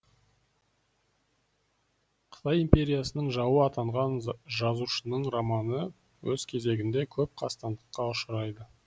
қытай империясының жауы атанған жазушының романы өз кезегінде көп қастандыққа ұшырайды